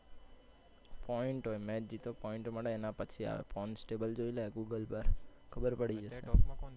Point હોય match જીતો point મળે એના પછી આવે. Points table જોઈ લે Google પર, ખબર પડી જશે.